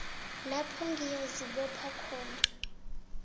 lapha ngiyazibopha bona